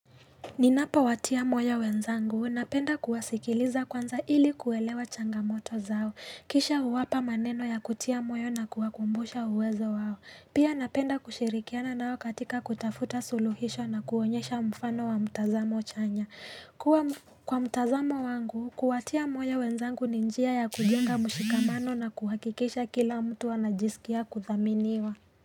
Ninapowatia moyo wenzangu napenda kuwasikiliza kwanza ili kuelewa changamoto zao. Kisha huwapa maneno ya kutia moyo na kuwakumbusha uwezo wao. Pia napenda kushirikiana nao katika kutafuta suluhisho na kuonyesha mfano wa mtazamo chanya. Kwa mtazamo wangu, kuwatia moyo wenzangu ni njia ya kujenga mshikamano na kuhakikisha kila mtu wanajisikia kuthaminiwa.